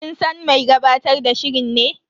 Kin san mai gabatar da shirin ne?